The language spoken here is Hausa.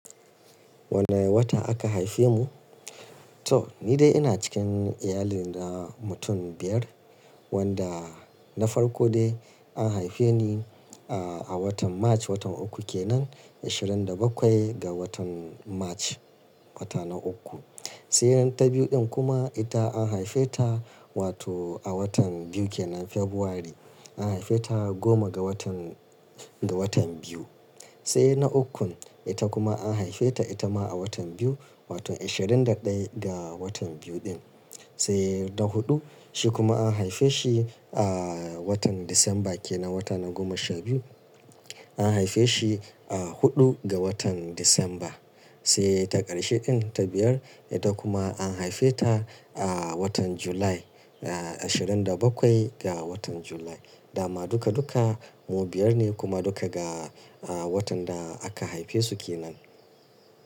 Wanne wata aka haife mu? To ni dai ina cikin iyalina mutum biyar wanda na farko dai an haife ni a, a watan March, watan uku kenan, ashirin da bakwai ga watan March, wata na uku. Sai nan ta biyu din kuma ita an haife ta wato a watan biyu kenan February an haife ta goma ga watan, ga watan biyu. Sai na ukun ita kuma an haife ta ita ma a watan biyu wato ashirin da ɗaya ga watan biyu din. Sai na huɗu shi kuma an haife shi a watan December kenan, wata na goma sha biyu an haife shi a huɗu ga watan December. Sai ta ƙarshe din ta biyar ita kuma an haife ta a watan July, ashirin da bakwai ga watan July. Da ma duka duka mu biyar ne kuma duka ga watan da aka haife su kenan.